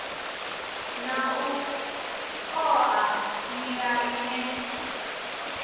na u oa nila ine